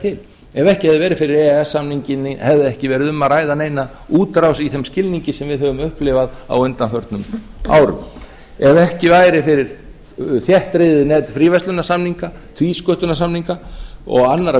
til ef ekki hefði verið fyrir e e s samninginn hefði ekki verið um neina útrás í þeim skilningi sem við höfum upplifað á undanförnum árum ef ekki væri fyrir þéttriðið net fríverslunarsamninga tvísköttunarsamninga og annarra